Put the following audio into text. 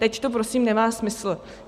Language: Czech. Teď to prosím nemá smysl.